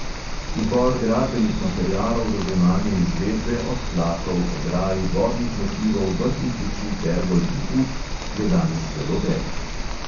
Izbor gradbenih materialov za zunanje izvedbe, od tlakov, ograj, vodnih motivov, vrtnih luči, pergol in ut, je danes zelo velik.